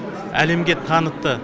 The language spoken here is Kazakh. әлемге танытты